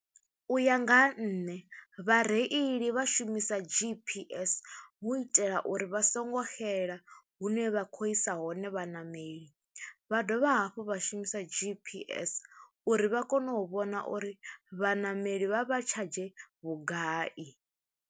U ya nga ha nṋe vhareili vha shumisa GPS hu itela uri vha songo xela hune vha khou isa hone vhaṋameli, vha dovha hafhu vha shumisa GPS uri vha kone u vhona uri vhaṋameli vha vha tshadzhe vhugai.